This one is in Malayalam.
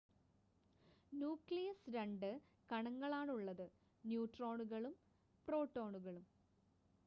ന്യൂക്ലിയസ് 2 കണങ്ങളാണുള്ളത് ന്യൂട്രോണുകളും പ്രോട്ടോണുകളും